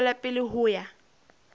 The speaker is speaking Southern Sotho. ho tswela pele ho ya